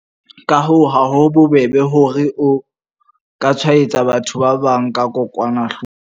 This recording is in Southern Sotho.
Ka hoo, ha ho bobebe hore o ka tshwaetsa batho ba bang ka kokwanahloko.